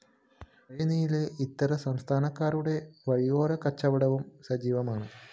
വഴിനീളെ ഇതര സംസ്ഥാനക്കാരുടെ വഴിയോര കച്ചവടവും സജീവമാണ്